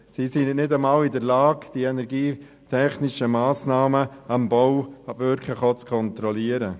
Sie sind ja nicht einmal in der Lage, die energietechnischen Massnahmen am Bau auch wirklich zu kontrollieren.